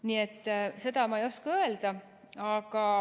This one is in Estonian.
Nii et seda ma ei oska öelda.